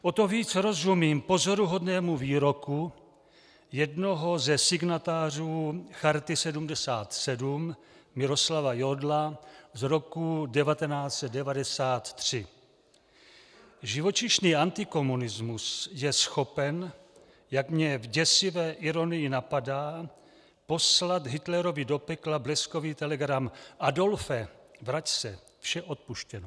O to víc rozumím pozoruhodnému výroku jednoho ze signatářů Charty 77 Miroslava Jodla z roku 1993: Živočišný antikomunismus je schopen, jak mě v děsivé ironii napadá, poslat Hitlerovi do pekla bleskový telegram: Adolfe, vrať se, vše odpuštěno.